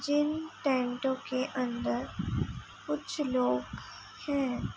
जिन टैंटो के अन्दर कुछ लोग हैं।